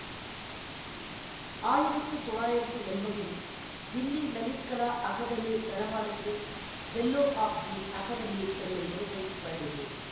ஆயிரத்து தொள்ளாயிரத்து என்பதில் தில்லி லலித் கலா அகாதெமி தனபாலுக்கு பெல்லோ ஆப் தி அகாதெமி என்னும் விருதை வழங்கியது